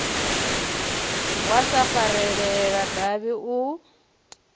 wa sa farelela davhi u